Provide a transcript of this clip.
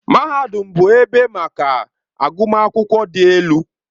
Mahadum bụ ebe maka agụmakwụkwọ dị elu.